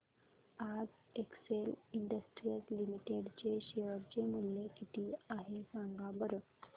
आज Excel industries limited चे share चे मूल्य किती आहे सांगा बरं